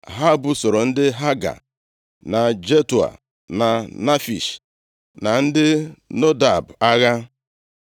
Ha busoro ndị Haga, na Jetua, na Nafish na ndị Nodab agha.